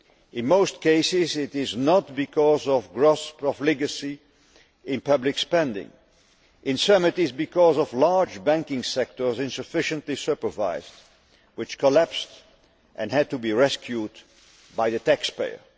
In most cases, it is not because of gross profligacy in public spending. In some, it is because of large banking sectors, insufficiently supervised, which collapsed and had to be rescued by the taxpayer.